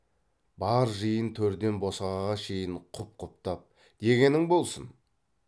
бар жиын төрден босағаға шейін құп құптап дегенің болсын